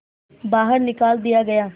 बाहर निकाल दिया गया